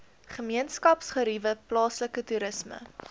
gemeenskapsgeriewe plaaslike toerisme